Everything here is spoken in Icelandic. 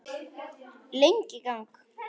Lengi í gang.